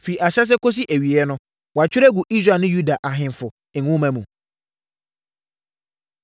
firi ahyɛaseɛ kɔsi awieeɛ no, wɔatwerɛ agu Israel ne Yuda Ahemfo Nwoma mu.